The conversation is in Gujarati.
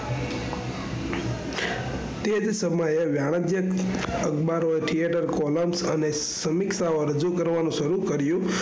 તે જ સમયે વાણિજ્ય અખબારો એ theater columns અને સમીક્ષાઓ રજૂ કરવાનું શરૂ કર્યું.